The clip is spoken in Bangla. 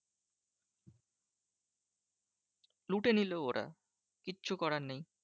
লুটে নিলো ওরা কিচ্ছু করার নেই।